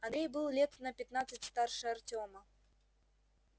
андрей был лет на пятнадцать старше артема